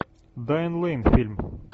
дайан лэйн фильм